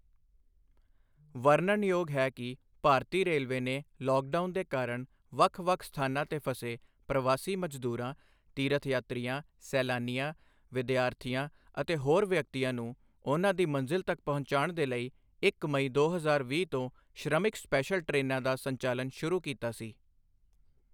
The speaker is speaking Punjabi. ਵਰਨਣਯੋਗ ਹੈ ਕਿ ਭਾਰਤੀ ਰੇਲਵੇ ਨੇ ਲੌਕਡਾਊਨ ਦੇ ਕਾਰਣ ਵੱਖ ਵੱਖ ਸਥਾਨਾਂ ਤੇ ਫਸੇ ਪ੍ਰਵਾਸੀ ਮਜ਼ਦੂਰਾਂ, ਤੀਰਥਯਾਤਰੀਆਂ, ਸੈਲਾਨੀਆਂ, ਵਿਦਿਆਰਥੀਆਂ ਅਤੇ ਹੋਰ ਵਿਅਕਤੀਆਂ ਨੂੰ ਉਨ੍ਹਾਂ ਦੀ ਮੰਜ਼ਿਲ ਤੱਕ ਪਹੁੰਚਾਉਣ ਦੇ ਲਈ ਇੱਕ ਮਈ, ਦੋ ਹਜ਼ਾਰ ਵੀਹ ਤੋੰ ਸ਼੍ਰਮਿਕ ਸਪੈਸ਼ਲ ਟ੍ਰੇਨਾਂ ਦਾ ਸੰਚਾਲਨ ਸ਼ੁਰੂ ਕੀਤਾ ਸੀ।